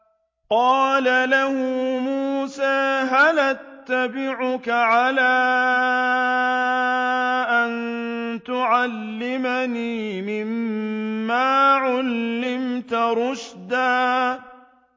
قَالَ لَهُ مُوسَىٰ هَلْ أَتَّبِعُكَ عَلَىٰ أَن تُعَلِّمَنِ مِمَّا عُلِّمْتَ رُشْدًا